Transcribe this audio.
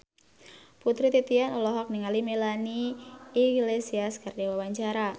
Putri Titian olohok ningali Melanie Iglesias keur diwawancara